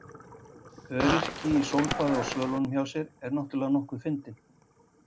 Öryrki í sólbaði á svölunum hjá sér er náttúrlega nokkuð fyndinn.